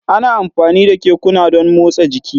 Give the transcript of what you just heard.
Ana amfani da kekuna don motsa jiki